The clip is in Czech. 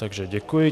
Takže děkuji.